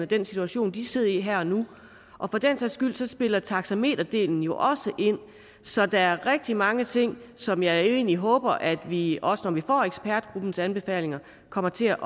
den situation de sidder i her og nu og for den sags skyld spiller taxameterdelen jo også ind så der er rigtig mange ting som jeg egentlig håber at vi også når vi får ekspertgruppens anbefalinger kommer til at